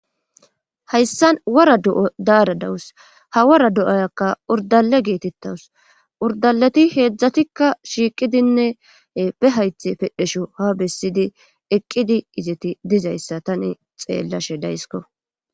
Hayssan wora do'a daara dawus ha wora do'ayakka urdale geetettawus urdaleti heedzdzatikka shiiqidinne be hayththe pedhesho ha bessidi eqqidi izeti dizayssa tani xeellashe daysko